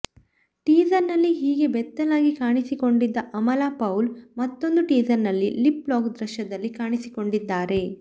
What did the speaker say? teaser ನಲ್ಲಿ ಹೀಗೆ ಬೆತ್ತಲಾಗಿ ಕಾಣಿಸಿಕೊಂಡಿದ್ದ ಅಮಲಾ ಪೌಲ್ ಮತ್ತೊಂದು ಟೀಸರ್ ನಲ್ಲಿ ಲಿಪ್ ಲಾಕ್ ದೃಶ್ಯದಲ್ಲಿ ಕಾಣಿಸಿಕೊಂಡಿದ್ದಾರೆ